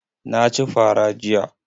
Na ci fa ra jiya.